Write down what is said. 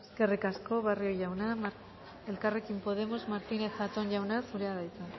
eskerrik asko barrio jauna elkarrekin podemos martínez zatón jauna zurea da hitza